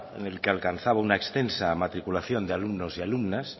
en el que alcanzaba una extensa matriculación de alumnos y alumnas